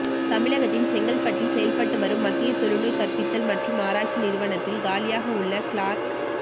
தமிழகத்தின் செங்கல்பட்டில் செயல்பட்டு வரும் மத்திய தொழுநோய் கற்பித்தல் மற்றும் ஆராய்ச்சி நிறுவனத்தில் காலியாக உள்ள கிளார்க்